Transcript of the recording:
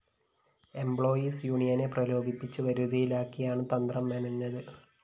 employees യൂണിയനെ പ്രലോഭിപ്പിച്ച്‌ വരുതിയിലാക്കിയാണ്‌ തന്ത്രം മെനഞ്ഞത്‌